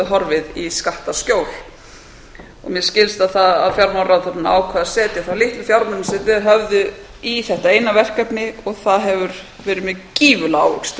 horfið í skattaskjól mér skilst að fjármálaráðherrann ákveði að setja þá litlu fjármuni sem þeir höfðu í þetta eina verkefni það hefur verið með gífurlega ávöxtun ef